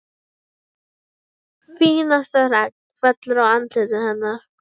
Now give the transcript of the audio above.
Fínasta regn fellur á andlitið hennar.